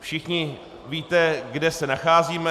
Všichni víte, kde se nacházíme.